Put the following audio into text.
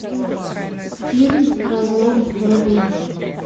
фильм разлом вруби